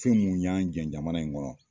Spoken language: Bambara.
Fɛn mun y'an jɛn jamana in kɔrɔ